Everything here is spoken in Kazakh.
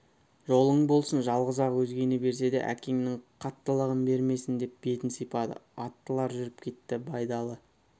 жолың болсын жалғыз-ақ өзгені берсе де әкеңнің қаттылығын бермесін деп бетін сипады аттылар жүріп кетті байдалы